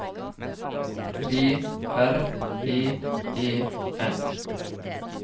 B R E E N